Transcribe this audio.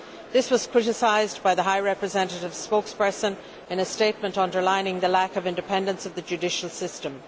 This was criticised by the High Representative's spokesperson in a statement underlining the lack of independence of the judicial system.